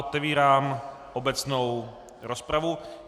Otevírám obecnou rozpravu.